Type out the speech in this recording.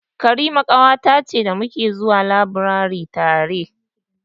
Karima ƙawata ce da ta muke zuwa labirari tare.